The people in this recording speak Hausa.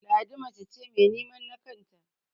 Ladi mace ce mai nemen na kanta